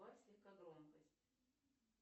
убавь слегка громкость